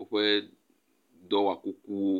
woƒe dɔwɔ kukuwo.